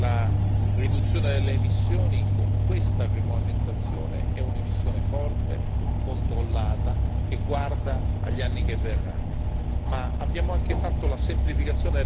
Una cosa mi preme sottolineare la riduzione delle emissioni, con questa regolamentazione, è una riduzione forte, controllata, che guarda agli anni a venire.